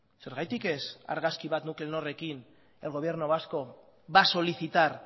zergatik ez argazki bat nuclenorrekin el gobierno vasco va a solicitar